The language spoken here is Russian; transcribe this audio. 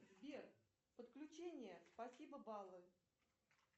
сбер подключение спасибо баллы